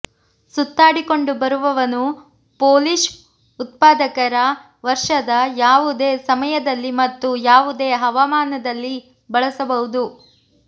ಸುತ್ತಾಡಿಕೊಂಡುಬರುವವನು Polish ಉತ್ಪಾದಕರ ವರ್ಷದ ಯಾವುದೇ ಸಮಯದಲ್ಲಿ ಮತ್ತು ಯಾವುದೇ ಹವಾಮಾನದಲ್ಲಿ ಬಳಸಬಹುದು